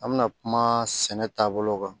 An bɛna kuma sɛnɛ taabolo kan